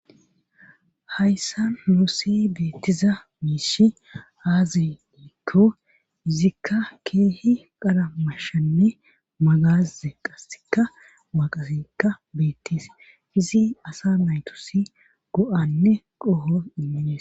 Hayssa moosi beettiza miishi aazi diikko izikka keehi qara mashanne magas zeqqasikka maaqasikka beettis izi asa maytusi go'anne qoho immines.